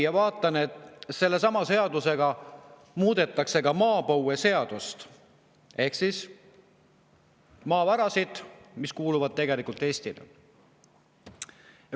Ja nägin, et sellesama eelnõu kohaselt muudetakse ka maapõueseadust ehk see ka maavarasid, mis kuuluvad tegelikult Eestile.